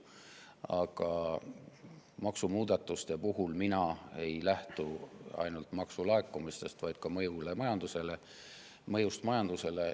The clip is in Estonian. Aga maksumuudatuste puhul ei lähtu ma ainult maksulaekumistest, vaid ka mõjust majandusele.